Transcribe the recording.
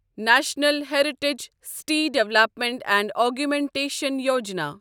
national heritage city development and augmentation Yojana